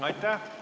Aitäh!